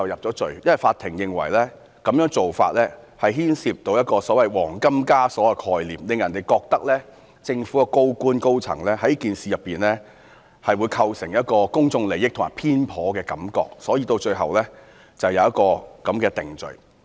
就是因為法庭認為這種做法牽涉到"黃金枷鎖"的概念，令人覺得政府高官和高層在此事中會構成公眾利益衝突或偏頗，所以，最後便有如此定罪。